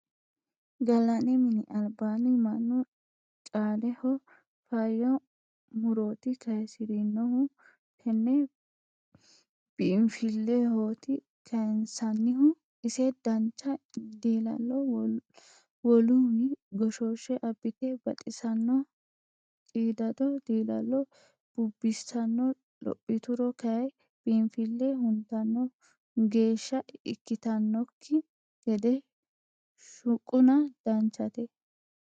Gallanni mini albaanni mannu caaleho faayya muroti kayisiranohu tene biinfilehoti kayinsannihu ise dancha diilalo woluwi goshoshe abbite baxisano qiidado dilalo bubbisano lophituro kayi biinfile huntano geeshsha ikkittanokki gede shuquna danchate.